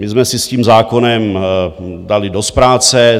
My jsme si s tím zákonem dali dost práce.